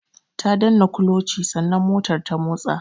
Ta danna kulochi sannan motar ta motsa.